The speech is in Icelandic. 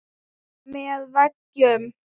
Með veggjum